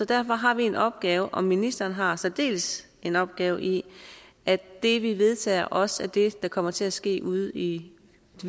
derfor har vi en opgave og ministeren har i særdeleshed en opgave i at det vi vedtager også er det der kommer til at ske ude i